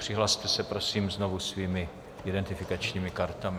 Přihlaste se prosím znovu svými identifikačními kartami.